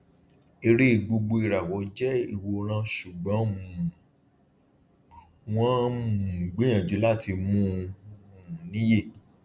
eré gbogboìràwọ jẹ ìwòran ṣùgbọn um wọn um gbìyànjú láti mú un um níye